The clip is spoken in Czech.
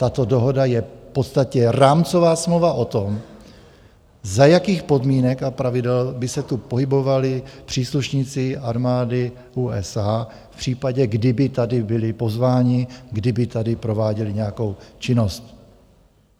Tato dohoda je v podstatě rámcová smlouva o tom, za jakých podmínek a pravidel by se tu pohybovali příslušníci armády USA v případě, kdyby tady byli pozváni, kdyby tady prováděli nějakou činnost.